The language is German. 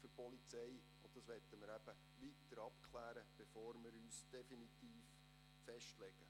Diese möchten wir weiter abklären, bevor wir uns definitiv festlegen.